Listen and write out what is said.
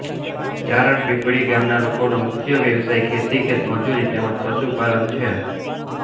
ચારણ પીપળી ગામના લોકોનો મુખ્ય વ્યવસાય ખેતી ખેતમજૂરી તેમ જ પશુપાલન છે